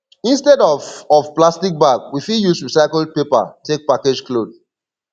instead of of plastic bag we fit use recycled paper take package cloth